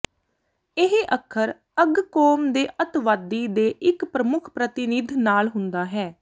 ਇਹ ਅੱਖਰ ਅੱਗ ਕੌਮ ਦੇ ਅੱਤਵਾਦੀ ਦੇ ਇੱਕ ਪ੍ਰਮੁੱਖ ਪ੍ਰਤੀਨਿਧ ਨਾਲ ਹੁੰਦਾ ਹੈ